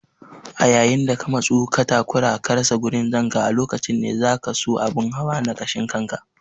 A yayin da ka matsu ka takura ka rasa gurin zanka a lokacin ne zakaso abun hawa na kashin kanka.